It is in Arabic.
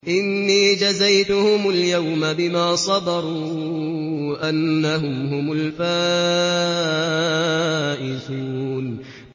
إِنِّي جَزَيْتُهُمُ الْيَوْمَ بِمَا صَبَرُوا أَنَّهُمْ هُمُ الْفَائِزُونَ